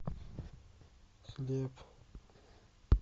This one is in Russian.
хлеб